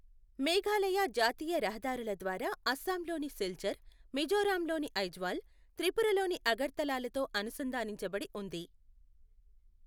మేఘాలయ జాతీయ రహదారుల ద్వారా అస్సాంలోని సిల్చర్, మిజోరాంలోని ఐజ్వాల్, త్రిపురలోని అగర్తలాలతో అనుసంధానించబడి ఉంది.